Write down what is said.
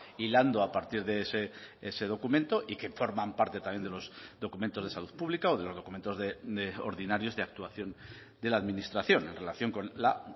hilando a partir de ese documento y que forman parte también de los documentos de salud pública o de los documentos de ordinarios de actuación de la administración en relación con la